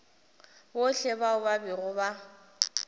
bohle bao ba bego ba